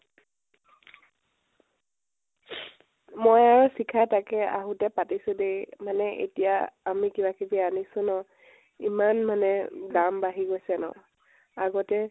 মই আৰু শিখা য়ে, আহোতে পাতিছো দেই মানে এতিয়া আমি কিবা কিবি আনিছো ন, ইমান মানে, দাম বাঢ়ি গৈছে ন ? আগতে